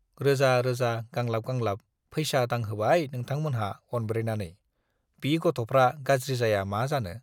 रोजा रोजा गांलाब गांलाब पैसा दांहोबाय नोंथांमोनहा अनब्रेनानै, बि गथ'फ्रा गाज्रि जाया मा जानो?